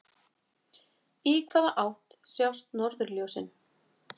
Í hvaða átt sjást norðurljósin?